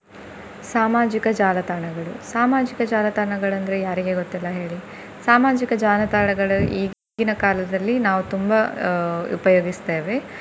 ಸಾಮಾಜಿಕ ಜಾಲತಾಣಗಳು. ಸಾಮಾಜಿಕ ಜಾಲತಾಣಗಳಂದ್ರೆ ಯಾರಿಗೆ ಗೊತ್ತಿಲ್ಲ ಹೇಳಿ. ಸಾಮಾಜಿಕ ಜಾಲತಾಣಗಳು ಈಗಿನ ಕಾಲದಲ್ಲಿ ನಾವು ತುಂಬಾ ಅಹ್ ಉಪಯೋಗಿಸ್ತೇವೆ.